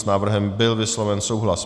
S návrhem byl vysloven souhlas.